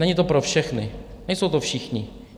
Není to pro všechny, nejsou to všichni.